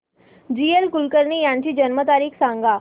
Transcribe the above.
जी A Kulkarni यांची जन्म तारीख सांग